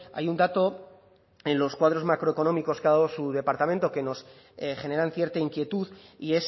hay un dato en los cuadros macroeconómicos que ha dado su departamento que nos generan cierta inquietud y